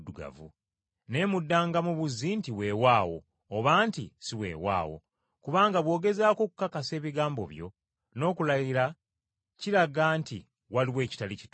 Naye muddangamu buzzi nti, ‘Weewaawo.’ Oba nti, ‘Si weewaawo’. Kubanga bw’ogezaako okukakasa ebigambo byo n’okulayira kiraga nti waliwo ekitali kituufu.”